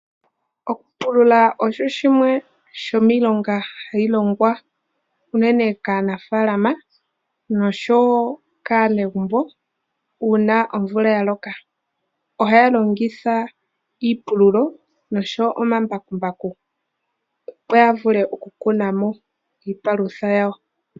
Okupulula okwo kumwe kwomiilonga, ha yi longwa meefalama nosho wo kasnegumbo uuna omvula ya loka. Oha ya longitha iipululo osho wo omambakumbaku, opo ya vule oku kunamo iipalutha yawo.